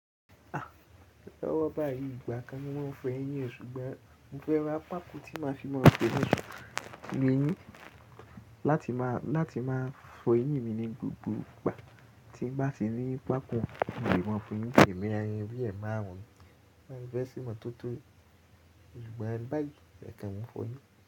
A! Lọwọ́ bá yí ìgbà kan ni mo máa ń fọ eyín o, ṣùgbọ́n mo fẹ́ ra pákó tí máa fi máa ń ṣe mi ní, láti máa, láti máa fọ eyín mi ní gbogbo ìgbà. Tí n bá ti rí pákó, mo lè mọ́n fọ eyin n tèmí, ayin bí ẹ̀máà wọn ni. Mo fẹ́ ṣe mọ tótó. Ṣùgbọ́n báyìí, ẹkan nmo nfọ eyín.